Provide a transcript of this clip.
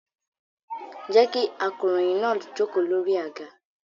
Jẹ́ kí akọ̀ròyìn náà jókòó lórí àga.